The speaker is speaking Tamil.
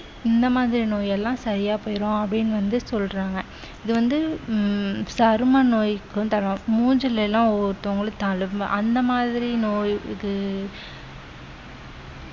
இந்த மாதிரி நோய் எல்லாம் சரியா போயிரும் அப்படின்னு வந்து சொல்றாங்க வந்து உம் சரும நோய்க்கும் தரும் மூஞ்சில எல்லாம் ஒவ்வொருத்தவங்களுக்கு தழும்பு அந்த மாதிரி நோய் இது